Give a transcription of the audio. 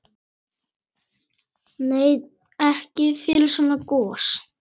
Nei, ekki fyrir svona gos.